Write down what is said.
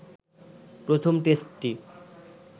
প্রথম টেস্টটি